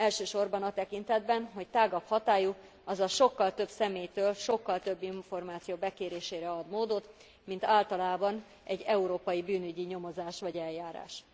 Elsősorban a tekintetben, hogy tágabb hatályú, azaz sokkal több személytől sokkal több információ bekérésére ad módot, mint általában egy európai bűnügyi nyomozás vagy eljárás.